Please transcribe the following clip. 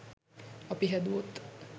අපි හැදුවොත්